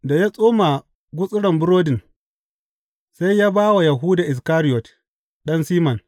Da ya tsoma gutsurin burodin, sai ya ba wa Yahuda Iskariyot, ɗan Siman.